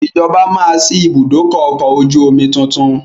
Ìjọba máa sì ibùdókọ̀ ọkọ̀ ojú omi tuntun